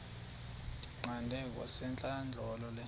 ndiyiqande kwasentlandlolo le